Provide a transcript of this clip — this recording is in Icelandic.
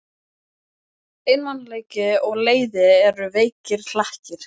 Einmanaleiki og leiði eru veikir hlekkir.